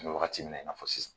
An be wagati min na, i n'a fɔ sisan